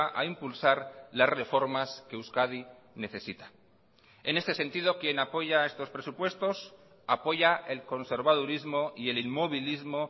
a impulsar las reformas que euskadi necesita en este sentido quien apoya a estos presupuestos apoya el conservadurismo y el inmovilismo